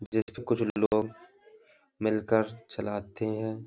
जैसे कुछ लोग मिलकर चलाते हैं।